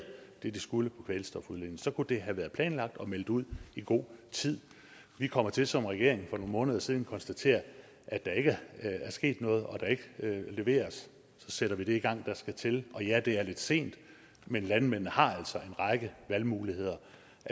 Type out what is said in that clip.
det de skulle hvad kvælstofudledning så kunne det have været planlagt og meldt ud i god tid vi kom til som regering for nogle måneder siden og konstaterede at der ikke er sket noget og at der ikke er leveret så sætter vi det i gang der skal til og ja det er lidt sent men landmændene har altså en række valgmuligheder